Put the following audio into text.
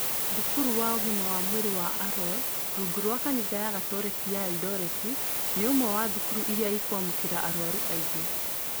Thukuru wa ũgima wa mwĩrĩ wa Arror, rungu rwa kanitha ya Gatoreki ya Erindoreti, nĩ ũmwe wa thukuru iria iramũkĩra arwaru aingĩ.